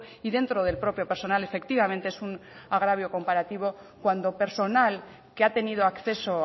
y dentro del propio personal efectivamente es un agravio comparativo cuando personal que ha tenido acceso